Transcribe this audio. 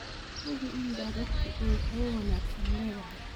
Hubi in daadadku ay hawo wanaagsan leedahay.